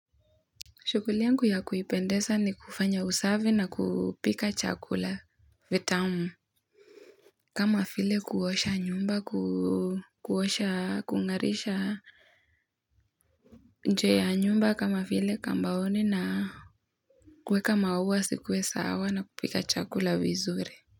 Shughuli yangu ya kuipendeza ni kufanya usafi na kupika chakula vitamu kama vile kuosha nyumba kuosha kung'arisha. Nje ya nyumba kama vile kambaoni na. Kuweka maua zikuwe sawa na kupika chakula vizuri.